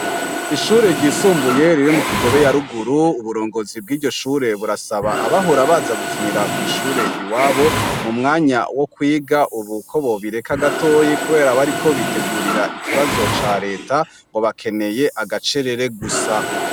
Ishure ryisumbuye riri mu Kigobe yaruguru, uburongozi bwiryoshure burasaba abahora baza gukinira kw'ishure iwabo mu mwanya wo kwiga ubu ko bobireka gato kubera bariko bitegurira ikibazo ca leta ngo bakeneye agacerere gusa.